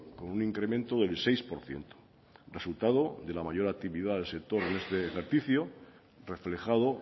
con un incremento del seis por ciento resultado de la mayor actividad del sector de este ejercicio reflejado